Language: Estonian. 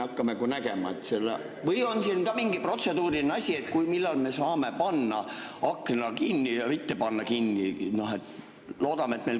Või on siin mingi protseduuriline asi, et millal me saame panna akna kinni ja millal mitte panna kinni?